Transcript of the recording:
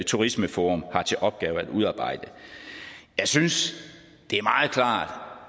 turismeforum har til opgave at udarbejde jeg synes det er meget klart